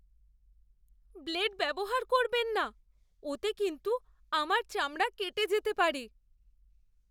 Blade ব্যবহার করবেন না। ওতে কিন্তু আমার চামড়া কেটে যেতে পারে।